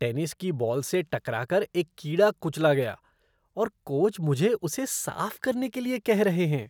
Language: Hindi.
टेनिस की बॉल से टकरा कर एक कीड़ा कुचला गया और कोच मुझे उसे साफ करने के लिए कह रहे हैं।